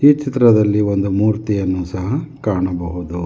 ಈ ಚಿತ್ರದಲ್ಲಿ ಒಂದು ಮೂರ್ತಿಯನ್ನು ಸಹ ಕಾಣಬಹುದು.